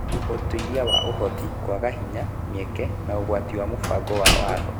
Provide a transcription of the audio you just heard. Ũtuĩria wa Ũhoti, kwaga hinya, mĩeke, na ũgwati wa mũbango wa watho.